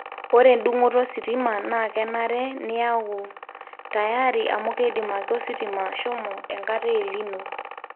ore edungoto ositima na kenare niyangu tayari amu keidim ake ositima ashomo enkata e El nino